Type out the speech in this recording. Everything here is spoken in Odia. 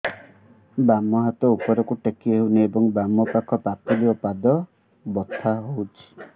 ବାମ ହାତ ଉପରକୁ ଟେକି ହଉନି ଏବଂ ବାମ ପାଖ ପାପୁଲି ଓ ପାଦ ବଥା ହଉଚି